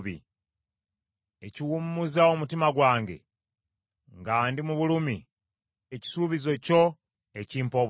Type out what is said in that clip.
Ekiwummuza omutima gwange nga ndi mu bulumi kye kisuubizo kyo ekimpa obulamu.